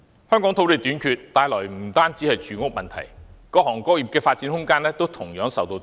香港土地短缺，帶來的不單是住屋問題，各行各業的發展空間也同樣受到擠壓。